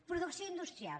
producció industrial